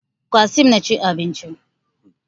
Qassim na cin abinci